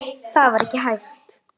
Það var ekki hægt.